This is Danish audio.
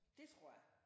Det tror jeg